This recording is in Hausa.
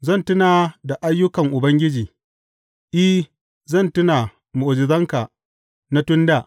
Zan tuna da ayyukan Ubangiji; I, zan tuna mu’ujizanka na tun dā.